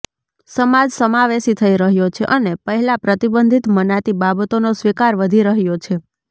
સમાજ સમાવેશી થઈ રહ્યો છે અને પહેલા પ્રતિબંધિત મનાતી બાબતોનો સ્વીકાર વધી રહ્યો છે